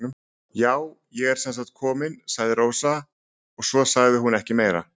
Já, ég er sem sagt komin, sagði Rósa og svo sagði hún ekki meira.